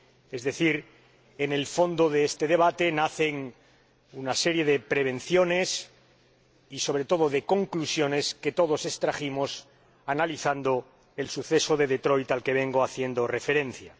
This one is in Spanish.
Es decir, en el fondo de este debate nacen una serie de prevenciones y, sobre todo, de conclusiones, que todos extrajimos al analizar el suceso de Detroit al que vengo haciendo referencia.